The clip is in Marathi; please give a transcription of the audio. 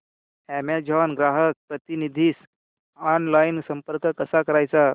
अॅमेझॉन ग्राहक प्रतिनिधीस ऑनलाइन संपर्क कसा करायचा